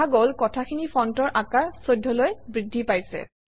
দেখা গল কথাখিনিৰ ফণ্টৰ আকাৰ 14 অলৈ বৃদ্ধি পাইছে